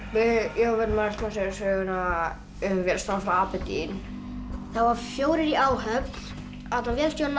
við ætlum að segja söguna um vélstjórann frá Aberdeen það voru fjórir í áhöfn vélstjórinn